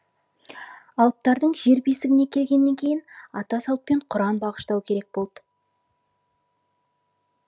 алыптардың жер бесігіне келгеннен кейін ата салтпен құран бағыштау керек болды